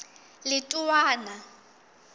letowana